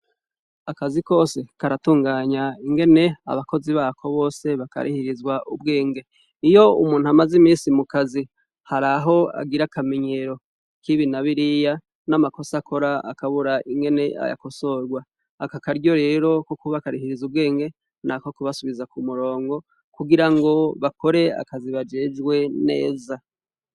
Akazi kose karatunganya ingene abakozi bako bose bakarihirizwa ubwenge, iyo umuntu amaze imisi mukazi har’aho agira akamenyero kibi nabiriya n'amakosa akora akabura ingene ayakosorwa, akakaryo rero ko kuba akarihiriza ubwenge nako kubasubiza ku murongo kugira ngo bakore akazi bajejwe neza.